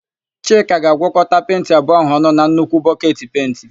Chika ga-agwọkọta penti abụọ áhụ̀ ọnụ na nnukwu bọketi pentị.